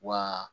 Wa